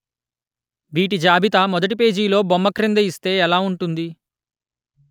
వీటి జాబితా మొదటి పేజి లొ బొమ్మ క్రింద ఇస్తే ఎలా ఉంటుంది